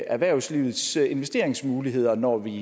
erhvervslivets investeringsmuligheder når vi